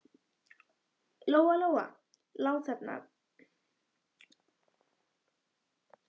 Lóa Lóa lá þarna uppi og gat aftur farið að hugsa.